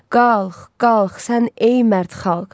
Qalx, qalx sən ey mərd xalq.